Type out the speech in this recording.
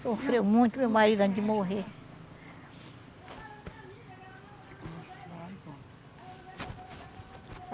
Sofreu muito meu marido antes de morrer.